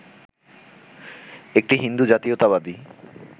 একটি হিন্দু জাতীয়তাবাদী